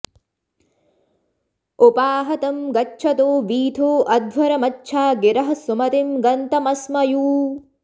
उपाह॒ तं गच्छ॑थो वी॒थो अ॑ध्व॒रमच्छा॒ गिरः॑ सुम॒तिं ग॑न्तमस्म॒यू